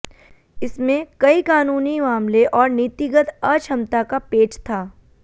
इसमें कई कानूनी मामले और नीतिगत अक्षमता का पेच था